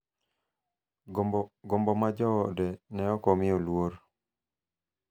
gombo ma joode ne ok omiyo luor,